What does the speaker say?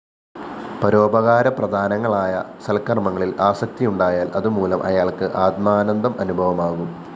പരോപകാരപ്രദങ്ങളായ സല്‍ക്കര്‍മ്മങ്ങളില്‍ ആസക്തിയുണ്ടായാല്‍ അതുമൂലം അയാള്‍ക്ക് ആത്മാനന്ദം അനുഭവമാകും